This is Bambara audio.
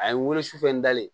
A ye n weele su fɛ n dalen